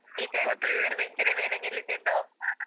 ಈಚೆ teacher sir bench ನ ಮೇಲೆ ನಿಲ್ಲಿಸಿದ್ದು.